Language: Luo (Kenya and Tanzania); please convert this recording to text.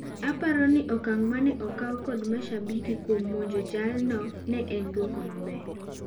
Aparoni okang' maneokaw kod mashabik kuom monjo jaal no ne en duoko maber.